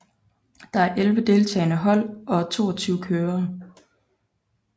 Der er elve deltagende hold og toogtyve kørere